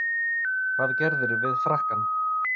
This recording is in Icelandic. En hvað gerðirðu við frakkann?